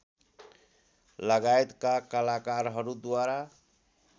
लगायतका कलाकारहरूद्वारा